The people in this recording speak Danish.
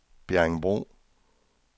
Bjerringbro